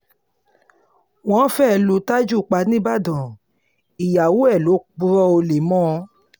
wọ́n fẹ́ẹ́ lu taju pa nìbàdàn ìyàwó ẹ̀ ló purọ́ olè mọ́ ọn